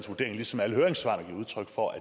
der gives udtryk for